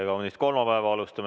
Tere kaunist kolmapäeva!